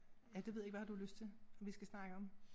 Ja det ved jeg ikke hvad har du lyst til at vi skal snakke om?